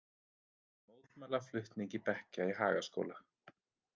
Mótmæla flutningi bekkja í Hagaskóla